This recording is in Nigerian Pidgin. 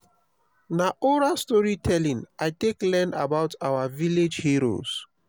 na oral storytelling i take learn about our village heroes.